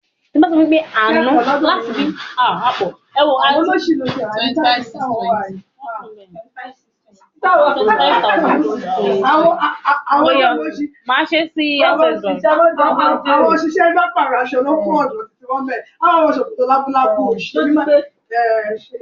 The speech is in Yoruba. Ṣé oúnjẹ dídùn máa jẹ́ kí inú run mí?